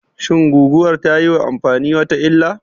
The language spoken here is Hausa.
Shin guguwar tayiwa amfani wata illah?